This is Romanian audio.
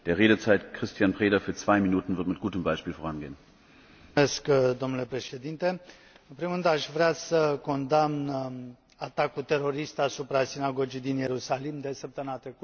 Domnule președinte, în primul rând aș vrea să condamn atacul terorist asupra sinagogii din Ierusalim de săptămâna trecută și să îmi exprim întreaga compasiune față de victime.